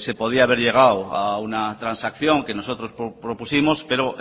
se podía haber llegado a una transacción que nosotros propusimos pero